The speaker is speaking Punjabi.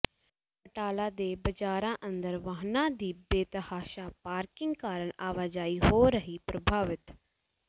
ਬਟਾਲਾ ਦੇ ਬਜ਼ਾਰਾਂ ਅੰਦਰ ਵਾਹਨਾਂ ਦੀ ਬੇਤਹਾਸ਼ਾ ਪਾਰਕਿੰਗ ਕਾਰਨ ਆਵਾਜਾਈ ਹੋ ਰਹੀ ਪ੍ਰਭਾਵਿਤ